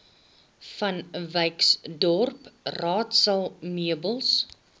vanwyksdorp raadsaal meubels